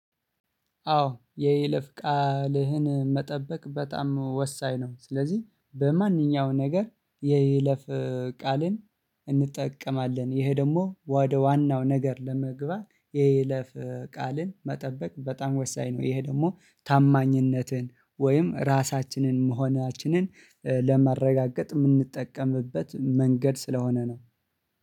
አዎ የይለፍ ቃልህን መጠበቅ በጣም ወሳኝ ነው። ስለዚህ በማንኛውም ነገር የይለፍ ቃልን እንጠቀማለን ይሄ ደግሞ ወደ ዋናው ነገር ለመግባት የይለፍ ቃልን መጠበቅ በጣም ወሳኝ ነው። ይሄ ደግሞ ታማኝነትን ወይም ራሳችንን መሆናችንን ለማረጋገጥ የምንጠቀምበት መንገድ ስለሆነ ነው